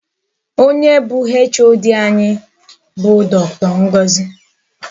Onye bụ HOD anyị bụ Dr Ngozi.